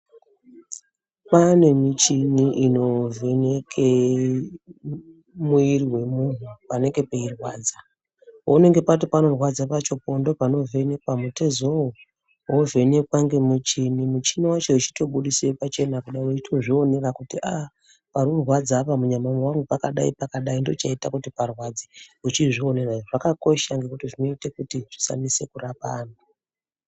Kwane muchini unovheneke muviri vemuntu panenge peirwadza. Paunenge pati panorwadza pacho ndopanovhenekwa mutezoo vovhenekwa ngemuchini muchini vacho veitobudise pachena kuda kuzvionera kuti aa parikurwadza apa munyama mangu pakadai-pakadai. Ndochaite kuti parwadze ichizvionera zvakakosha ngekuti zvinoite kuti usamise kurapa antu.